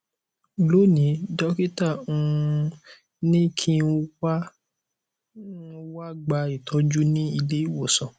lónìí dọkítà um ní kí n wá n wá gba ìtọjú ní ilé ìwòsàn